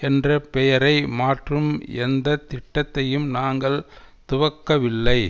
என்ற பெயரை மாற்றும் எந்த திட்டத்தையும் நாங்கள் துவக்கவில்லை